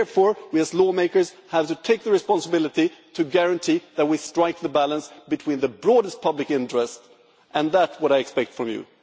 Therefore, we, as lawmakers, have to take the responsibility to guarantee that we strike a balance in the broadest public interest, and that is what I expect from you.